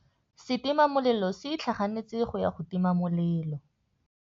Setima molelô se itlhaganêtse go ya go tima molelô.